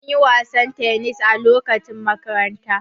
Muna yin wasan tennis a lokacin makaranta.